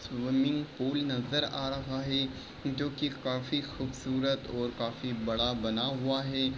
Swimming pool नजर आ रहा है जो की काफी खूबसूरत और काफी बड़ा बना हुआ है।